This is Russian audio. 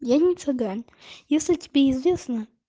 я не цыган если тебе известны